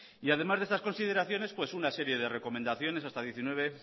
y además de estas consideraciones pues una serie de recomendaciones hasta diecinueve